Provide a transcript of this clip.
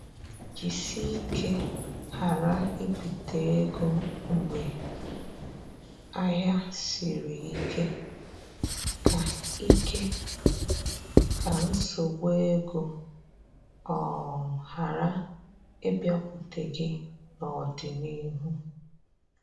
Jisike ghara ibite ego mgbe ahịa siri ike, ka ike, ka nsogbu ego um ghara ịbịakwute gị n'ọdịnihu